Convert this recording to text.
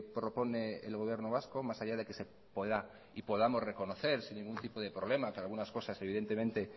propone el gobierno vasco más allá de que se pueda y podamos reconocer sin ningún tipo de problema que algunas cosas evidentemente